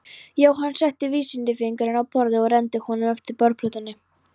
Jóhann setti vísifingurinn á borðið og renndi honum eftir borðplötunni.